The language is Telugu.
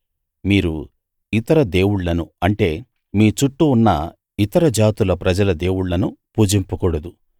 మీరు ఇతర దేవుళ్ళను అంటే మీ చుట్టూ ఉన్న ఇతర జాతుల ప్రజల దేవుళ్ళను పూజింపకూడదు